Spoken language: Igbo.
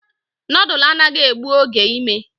Noodlu anaghị egbu oge ime